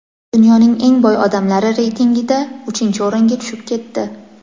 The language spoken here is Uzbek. dunyoning eng boy odamlari reytingida uchinchi o‘ringa tushib ketdi.